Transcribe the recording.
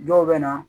Dɔw bɛ na